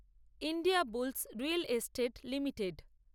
India bulls real estate limited